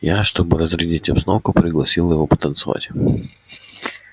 я чтобы разрядить обстановку пригласила его потанцевать